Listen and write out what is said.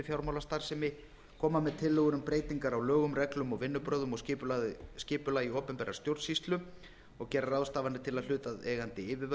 fjármálastarfsemi koma með tillögur um breytingar á lögum reglum vinnubrögðum og skipulagi opinberrar stjórnsýslu og gera ráðstafanir til þess að hlutaðeigandi yfirvöld